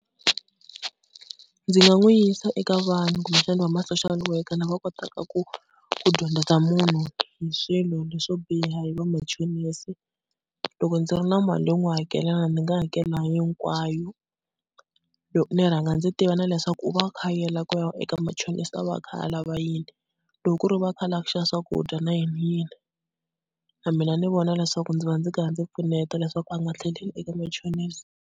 Ndzi nga n'wi yisa eka vanhu kumbexana va ma-social worker lava kotaka ku, ku dyondzisa munhu hi swilo leswo biha hi vamachonisi. Loko ndzi ri na mali yo n'wi hakelaka ndzi nga hakela hinkwayo, ni rhanga ndzi tiva na leswaku u va a kha a yela eka machonisi a va a kha a lava yini. Loko ku ri u va a kha a lava ku xava swakudya na yini yini na mina ni vona leswaku ndzi va ndzi karhi ndzi pfuneta leswaku a nga tlheleli eka machonisi.